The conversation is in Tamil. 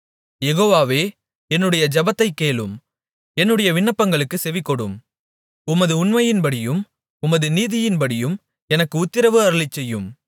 யெகோவாவே என்னுடைய ஜெபத்தைக் கேளும் என்னுடைய விண்ணப்பங்களுக்குச் செவிகொடும் உமது உண்மையின்படியும் உமது நீதியின்படியும் எனக்கு உத்திரவு அருளிச்செய்யும்